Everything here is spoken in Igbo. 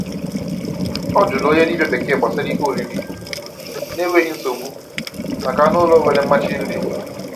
Ọ jụrụ onye dibia bekee gbasara ihe oriri na enweghị nsogbu maka anụ ụlọ nwere mmachi nri.